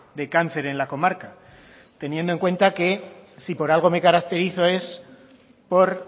de cáncer en la comarca teniendo en cuenta que si por algo me caracterizo es por